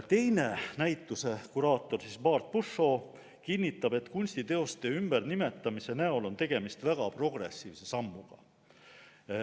Teine näituse kuraator, Bart Pushaw kinnitab, et kunstiteoste ümbernimetamise näol on tegemist väga progressiivse sammuga.